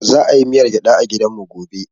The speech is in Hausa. Za a yi miyar gyada a gidan mu gobe